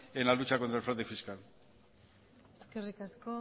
en la lucha contra el fraude fiscal eskerrik asko